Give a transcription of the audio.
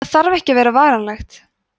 það þarf ekki að vera varanlegt